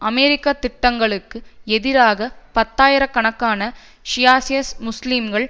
அமெரிக்க திட்டங்களுக்கு எதிராக பத்தாயிர கணக்கான ஷியைஷ முஸ்லீம்கள்